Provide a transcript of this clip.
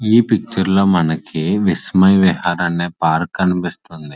ఈ పిక్చర్ లో మనకి ఇట్స్ మై విహార్ అనే పార్కు కనిపిస్తుంది.